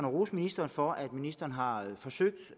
rose ministeren for at ministeren har forsøgt